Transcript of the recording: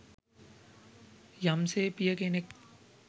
යම්සේ පිය කෙනෙක්